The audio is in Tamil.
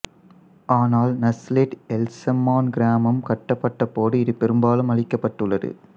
ஆனால் நஸ்லெட் எல்சம்மான் கிராமம் கட்டப்பட்ட போது இது பெரும்பாலும் அழிக்கப்பட்டுள்ளது